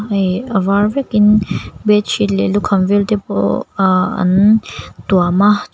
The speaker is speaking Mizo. hei a var vekin bead sheet leh lukhan vel te pawh uhh an tuam a chua--